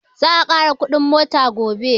Za a ƙara kuɗin mota gobe